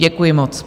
Děkuji moc.